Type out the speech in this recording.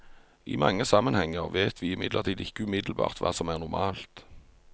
I mange sammenhenger vet vi imidlertid ikke umiddelbart hva som er normalt.